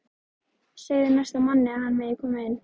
Segðu næsta manni að hann megi koma inn